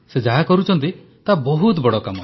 ସେ ଯାହା କରୁଛନ୍ତି ତାହା ବହୁତ ବଡ଼ କାମ